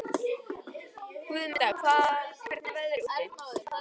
Guðmunda, hvernig er veðrið úti?